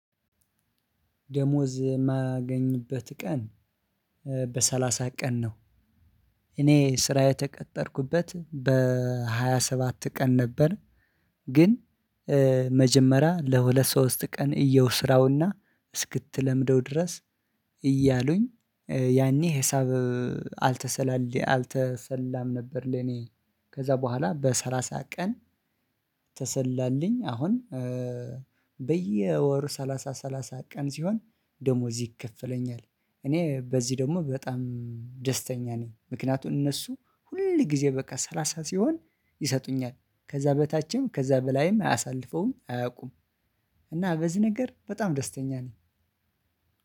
ደሞዝ የማገኝበት ቀን በሰላሳ ቀን ነው። እኔ ስራ የተቀጠርኩበት በሃያ ሰባት ቀን ነበር ግን መጀመ ለሁለት ሶስት ቀን እየው ስራውና እስክትለምደው ድረስ እያሉኝ ያኔ ሂሳብ አልተሰላለ አልተሰላም ነበር ለኔ ከዛ ቦኋላ በሰላሳ ቀን ተሰላልኝ አሁን በየወር ሰላሳ ሰላሳ ቀን ሲሆን ደሞዝ ይከፈለኛል። እኔ በዚህ ደግሞ በጣም ደስተኛ ነኝ። ምክንያቱም እነሱ ሁል ጊዜ በቃ ሰላሳ ሲሆን ይሰጡኛል ከዛ በታችም ከዛ በላይም አያሳልፈውም አያውቁም እና በዚህ ነገር በጣም ደስተኛ ነኝ።